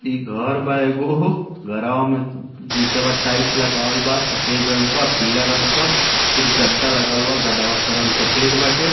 इ घर बा एगो घरवा में निचवा टाइट लगावल बा सफ़ेद रंग क पीला रंग क फिर गद्दा लगावल बा गद्दवा के रंग सफ़ेद बाटे |